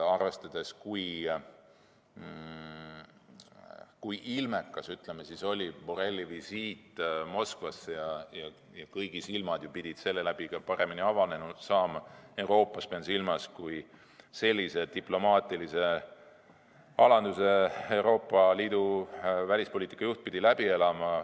Arvestades seda, kui ilmekas oli Borrelli visiit Moskvasse, pidid kõigi silmad selle käigus Euroopas paremini avanema – pean silmas seda diplomaatilist alandust, mille Euroopa Liidu välispoliitika juht pidi läbi elama.